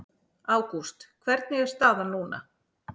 Ágúst hvernig er staðan núna?